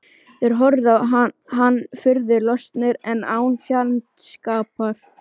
Þeir horfðu á hann furðu lostnir en án fjandskapar.